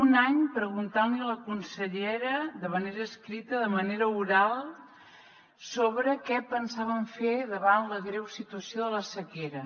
un any preguntant li a la consellera de manera escrita de manera oral sobre què pensaven fer davant la greu situació de la sequera